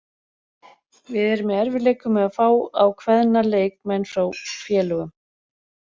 Við erum í erfiðleikum með að fá á kveðna leikmenn frá félögum.